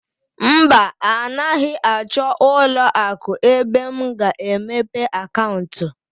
Mba, anaghị achọ ụlọ akụ ebe m ga-emepe akaụntụ.